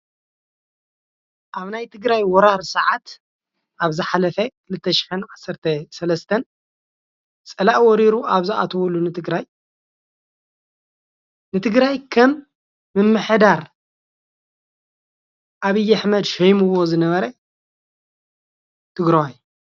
ኣብ ናይ ትግራይ ወራር ሰዓት ኣብ ዝሓፈ 2013 ፀላኢ ወሪሩ ኣብ ዝኣተውሉ ትግራይ ንትግራይ ከም ምምሕዳር ኣብይ ኣሕመድ ሸይምዎ ዝነበረ ትግራዋይ፡፡